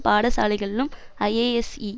பாடசாலைகளிலும் ISSE